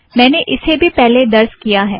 मैंने इसे भी पहले दर्ज़ किया है